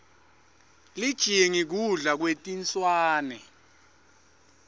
lijingi kudla kwetinswane